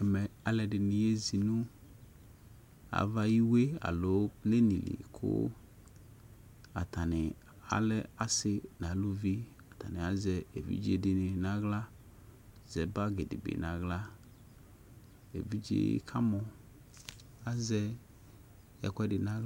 Alʊɛdɩnɩ yeze nʊ ava ayʊ iwue lɩ kʊ atanɩ lɛ asɩ nʊ alʊvɩ atanɩ azɛ evidze dɩnɩ kʊ aɣla nʊ bagi dɩnɩbɩ evidze yɛ kamɔ azɛ ɛkʊɛdɩ nʊ aɣla